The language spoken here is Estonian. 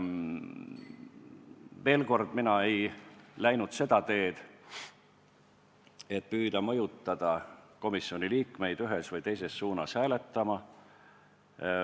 Veel kord: mina ei läinud seda teed, et püüda mõjutada komisjoni liikmeid ühes või teises suunas hääletama.